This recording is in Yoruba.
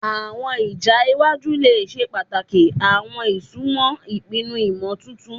Awọn ija iwaju le ṣe pataki awọn isunmọ ipinnu imotuntun